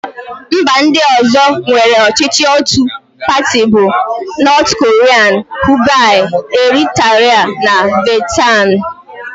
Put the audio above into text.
Mba ndị ọ̀zọ́ nwere ọchịchị ótù pati bụ: Nọọt korịa, Kiuba, Eritra, na Vietnam.